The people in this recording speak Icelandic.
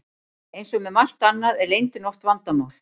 Eins og með margt annað er leyndin oft vandamál.